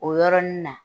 O yɔrɔnin na